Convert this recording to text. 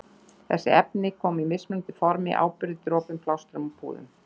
Þessi efni koma í mismunandi formi- áburði, dropum, plástrum og púðum.